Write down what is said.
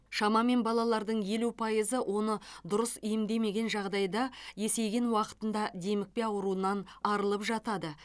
шамамен балалардың елу пайызы оны дұрыс емдемеген жағдайда есейген уақытында демікпе ауруынан арылып жатады